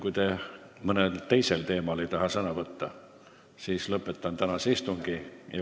Kui te mõnel teisel teemal ei taha sõna võtta, siis lõpetan tänase istungi.